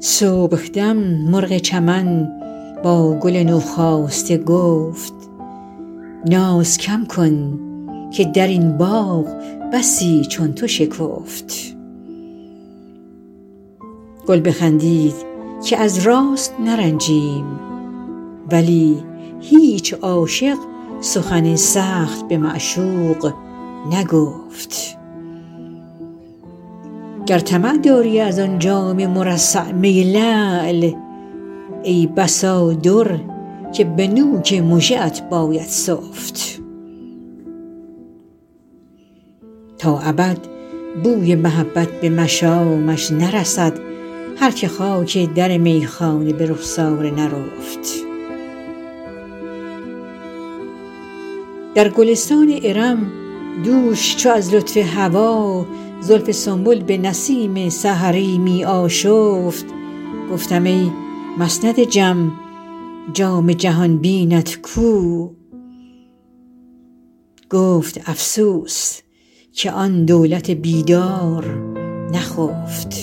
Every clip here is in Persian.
صبحدم مرغ چمن با گل نوخاسته گفت ناز کم کن که در این باغ بسی چون تو شکفت گل بخندید که از راست نرنجیم ولی هیچ عاشق سخن سخت به معشوق نگفت گر طمع داری از آن جام مرصع می لعل ای بسا در که به نوک مژه ات باید سفت تا ابد بوی محبت به مشامش نرسد هر که خاک در میخانه به رخسار نرفت در گلستان ارم دوش چو از لطف هوا زلف سنبل به نسیم سحری می آشفت گفتم ای مسند جم جام جهان بینت کو گفت افسوس که آن دولت بیدار بخفت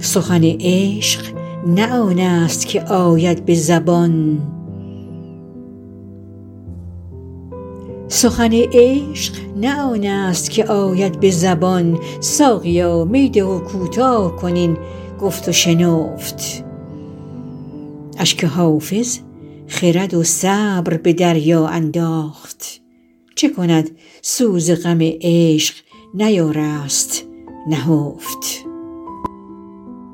سخن عشق نه آن است که آید به زبان ساقیا می ده و کوتاه کن این گفت و شنفت اشک حافظ خرد و صبر به دریا انداخت چه کند سوز غم عشق نیارست نهفت